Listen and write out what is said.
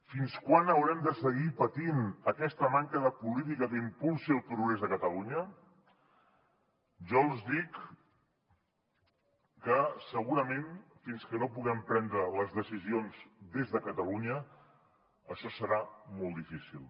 fins quan haurem de seguir patint aquesta manca de política que impulsi el progrés de catalunya jo els dic que segurament fins que no puguem prendre les decisions des de catalunya això serà molt difícil